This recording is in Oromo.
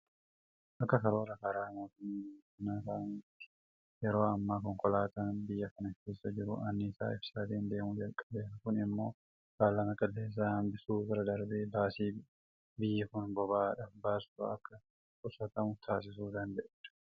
Akka karoora karaa mootummaa biyya kanaa kaa'ametti yeroo ammaa konkolaataan biyya kana keessa jiru anniisaa ibsaatiin deemuu jalqabeera. Kun immoo faalama qilleensaa hanbisuu bira darbee baasii biyyi kun boba'aadhaaf baastu akka qusatamu taasisuu danda'eera.